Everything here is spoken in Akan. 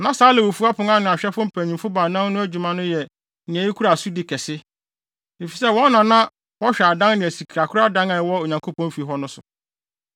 Na saa Lewifo apon ano ahwɛfo mpanyimfo baanan no adwuma no yɛ nea ekura asodi kɛse, efisɛ wɔn na na wɔhwɛ adan ne sikakoradan a ɛwɔ Onyankopɔn fi hɔ no so.